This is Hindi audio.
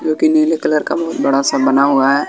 जो की नीले कलर का बहोत बड़ा सा बना हुआ है।